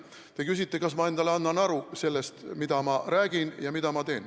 Te küsite, kas ma annan endale aru sellest, mida ma räägin ja mida ma teen.